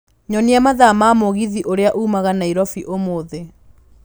Nyonia mathaa ma mũgithi uria ũmaga Nairobi ũmũthĩ